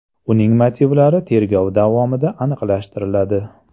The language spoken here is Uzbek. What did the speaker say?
Uning motivlari tergov davomida aniqlashtiriladi.